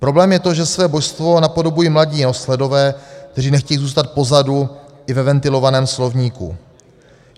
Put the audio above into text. Problém je to, že své božstvo napodobují mladí nohsledové, kteří nechtějí zůstat pozadu i ve ventilovaném slovníku.